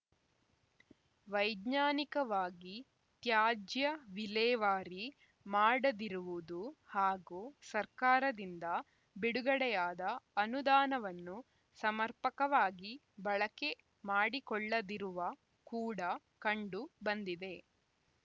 ವೈಜ್ಞಾನಿಕವಾಗಿ ತ್ಯಾಜ್ಯ ವಿಲೇವಾರಿ ಮಾಡದಿರುವುದು ಹಾಗೂ ಸರ್ಕಾರದಿಂದ ಬಿಡುಗಡೆಯಾದ ಅನುದಾನವನ್ನು ಸಮರ್ಪಕವಾಗಿ ಬಳಕೆ ಮಾಡಿಕೊಳ್ಳದಿರುವ ಕೂಡ ಕಂಡು ಬಂದಿದೆ